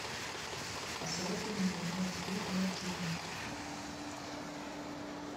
посоветуй мне нет игры нет жизни